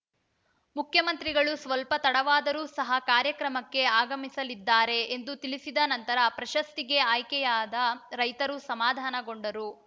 ಮುಖ್ಯಮಂತ್ರಿಗಳು ಸ್ವಲ್ಪ ತಡವಾದರೂ ಸಹ ಕಾರ್ಯಕ್ರಮಕ್ಕೆ ಆಗಮಿಸಲಿದ್ದಾರೆ ಎಂದು ತಿಳಿಸಿದ ನಂತರ ಪ್ರಶಸ್ತಿಗೆ ಆಯ್ಕೆಯಾದ ರೈತರು ಸಮಾಧಾನಗೊಂಡರು